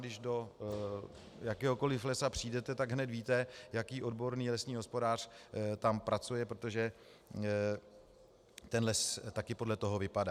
Když do jakéhokoli lesa přijdete, tak hned víte, jaký odborný lesní hospodář tam pracuje, protože ten les taky podle toho vypadá.